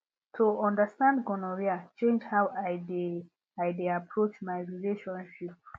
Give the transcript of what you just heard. to understand gonorrhea change how i dey i dey approach my relationship